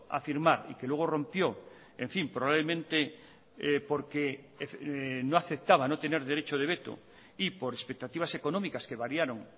a firmar y que luego rompió en fin probablemente porque no aceptaba no tener derecho de veto y por expectativas económicas que variaron